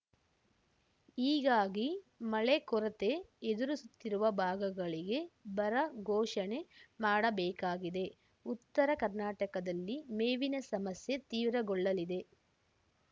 ಹೀಗಾಗಿ ಮಳೆ ಕೊರತೆ ಎದುರಿಸುತ್ತಿರುವ ಭಾಗಗಳಿಗೆ ಬರ ಘೋಷಣೆ ಮಾಡಬೇಕಾಗಿದೆ ಉತ್ತರ ಕರ್ನಾಟಕದಲ್ಲಿ ಮೇವಿನ ಸಮಸ್ಯೆ ತೀವ್ರಗೊಳ್ಳಲಿದೆ